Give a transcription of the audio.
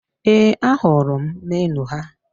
Ee, ahụrụ m meniu ha